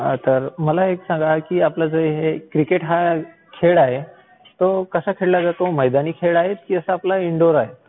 तर मला एक सांगा, आपला हा जो क्रिकेट खेळ आहे तो कसा खेळला जातो? मैदानी खेळ आहे की आपला इंडोर आहे?